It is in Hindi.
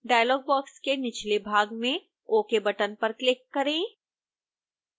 डायलॉग बॉक्स के निचले भाग में ok बटन पर क्लिक करें